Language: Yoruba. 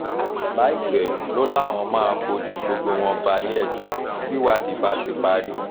láìpẹ́ ló láwọn máa fojú gbogbo wọn balẹ̀-ẹjọ́ tìwádìí bá ti parí